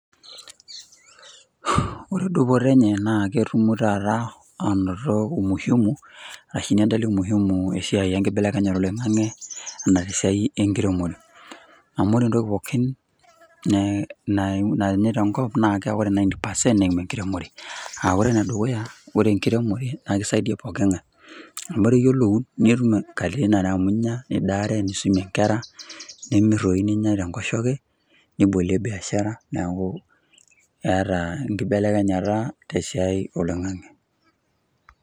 Ore dupoto enye, naa ketum taata aanoto umuhimu, tenedoli muhimu enkibelekenyata oloingang'e, anaa esiai enkiremore, amu ore entoki pookin tene tenkop naa, ore ninety percent naaa enkiremore. ore ene dukuya ,ore enkiremore naa kisaidia pooki ng'ae. amu iyiolou netum katitin are amu idaaare, nisumie nkera, nitum ntokitin ninyia tenkoshoke, niboliei biashara.